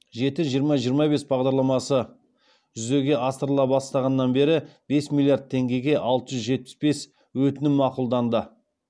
жеті жиырма жиырма бес бағдарламасы жүзеге асырыла бастағаннан бері бес миллиард теңгеге алты жүз жетпіс бес өтінім мақұлданды